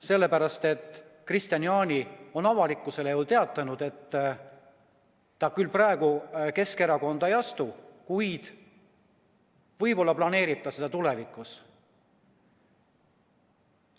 Sellepärast, et Kristian Jaani on avalikkusele teatanud, et ta küll praegu Keskerakonda ei astu, kuid võib-olla planeerib ta seda tulevikus.